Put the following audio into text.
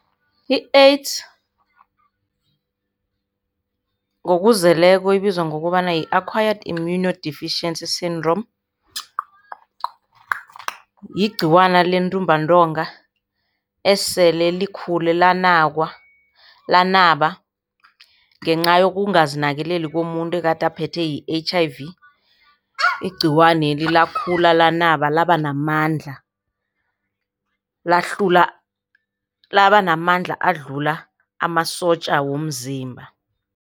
I-AIDS ngokuzeleko ibizwa ngokobana yi-acquired immuno deficiency syndrome. Yigciwane lentumbantonga esele likhule lanakwa, lanaba ngenca yokungazinakekeli komuntu ekade aphethe yi-H_ I_ V, igciwaneli lakhula lanaba laba namandla. Lahlula, laba namandla adlula amasotja womzimba.